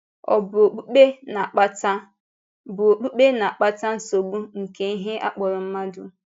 Ọ̀ bụ okpùkpe na-akpata bụ okpùkpe na-akpata nsogbu nke ihe a kpọrọ mmadụ?